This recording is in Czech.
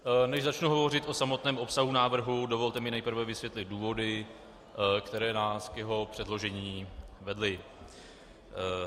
Než začnu hovořit o samotném obsahu návrhu, dovolte mi nejprve vysvětlit důvody, které nás k jeho předložení vedly.